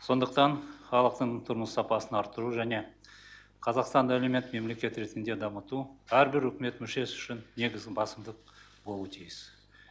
сондықтан халықтың тұрмыс сапасын арттыру және қазақстанды әлеумет мемлекет ретінде дамыту әрбір үкімет мүшесі үшін негізгі басымдық болуы тиіс